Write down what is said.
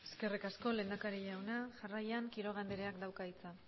eskerrik asko lehendakari jauna jarraian quiroga andereak dauka hitza